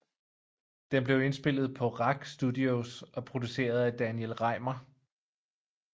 Den blev indspillet på RAK Studios og produceret af Daniel Rejmer